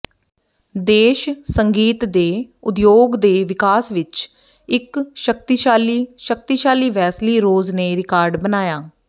ਦੇਸ਼ ਸੰਗੀਤ ਦੇ ਉਦਯੋਗ ਦੇ ਵਿਕਾਸ ਵਿੱਚ ਇੱਕ ਸ਼ਕਤੀਸ਼ਾਲੀ ਸ਼ਕਤੀਸ਼ਾਲੀ ਵੈਸਲੀ ਰੋਜ਼ ਨੇ ਰਿਕਾਰਡ ਬਣਾਇਆ